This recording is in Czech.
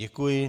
Děkuji.